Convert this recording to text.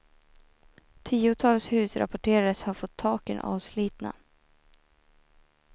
Tiotals hus rapporterades ha fått taken avslitna.